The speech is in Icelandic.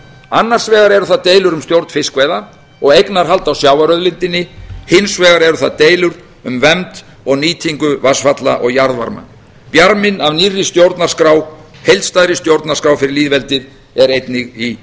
annars vegar eru það deilur um stjórn fiskveiða og eignarhald á sjávarauðlindinni hins vegar eru það deilur um vernd og nýtingu vatnsfalla og jarðvarma bjarminn af nýrri stjórnarskrá heildstæðri stjórnarskrá fyrir lýðveldið er einnig í